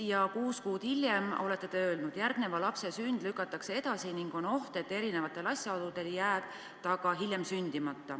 Ja kuus kuud hiljem te olete öelnud: "Järgneva lapse sünd lükatakse edasi ning on oht, et erinevatel asjaoludel jääb ta ka hiljem sündimata.